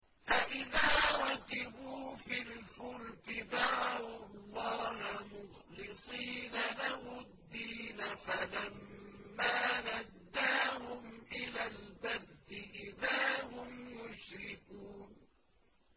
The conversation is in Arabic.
فَإِذَا رَكِبُوا فِي الْفُلْكِ دَعَوُا اللَّهَ مُخْلِصِينَ لَهُ الدِّينَ فَلَمَّا نَجَّاهُمْ إِلَى الْبَرِّ إِذَا هُمْ يُشْرِكُونَ